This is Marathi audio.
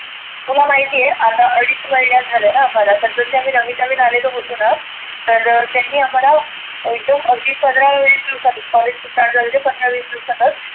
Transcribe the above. तुला माहिती आहे आता अडीच महिने झालेना मला त्या वेळेस आम्ही नविन नविन आलेलो होतोना. तर त्यांनी आम्हाला एकदम अगदी पंधरा विस दिवसातच कॉलेज चालू झालं ते पंधरा विस दिवसातच.